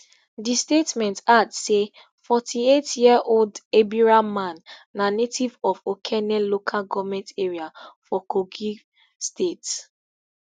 di statement add say forty-eightyearold ebira man na native of okene local goment area for kogi state